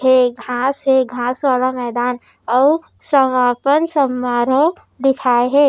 ये घास हे घास वाला मैदान आऊ समापन समारोह लिखाये हे।